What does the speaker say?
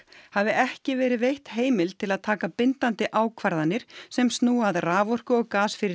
hafi ekki verið veitt heimild til að taka bindandi ákvarðanir sem snúa að raforku og